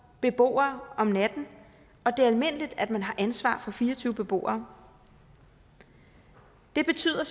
beboere om natten og det er almindeligt at man har ansvaret for fire og tyve beboere det betyder